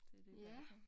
Det det i hvert fald